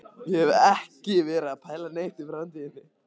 Ég hef ekki verið að pæla neitt í framtíðinni.